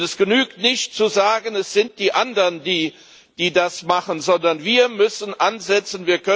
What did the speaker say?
Es genügt nicht zu sagen Es sind die anderen, die das machen, sondern wir müssen ansetzen.